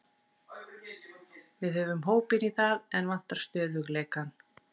Við höfum hópinn í það, en vantar stöðugleikann.